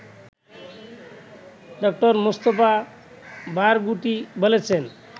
ড: Mustafa Barghouti বলেছেন